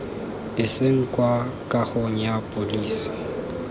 iseng kwa kagong ya pholese